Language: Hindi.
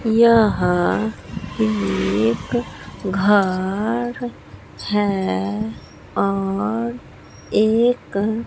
यह एक घर है और एक--